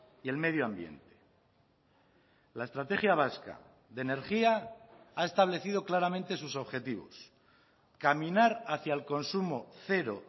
y el medio ambiente la estrategia vasca de energía ha establecido claramente sus objetivos caminar hacia el consumo cero